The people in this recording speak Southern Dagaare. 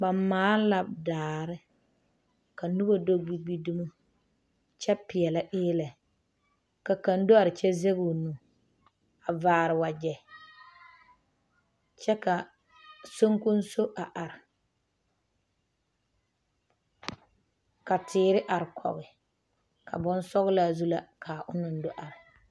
Ba maale la daare ka noba do gbi gbi dumo kyɛ pɛɛlɛ eelɛ ka kaŋ do are kyɛ zage o nu a vaare wagyɛ kyɛ ka sonkonso a are, ka teere are kɔge, bonsɔglaa zu la ka a ona do are.